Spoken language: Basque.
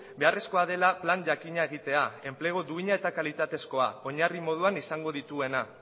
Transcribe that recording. beharrezkoa dela plan jakina egitea enplegu duina eta kalitatezkoa oinarri moduan izango dituena